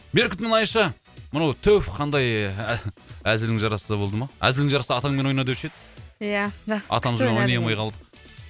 беркут мұнайшы мынау түф қандай ә әзілің жарасса болды ма әзілің жарасса атаңмен ойна деуші еді иә